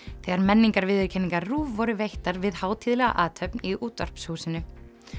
þegar RÚV voru veittar við hátíðlega athöfn í Útvarpshúsinu